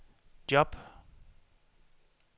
job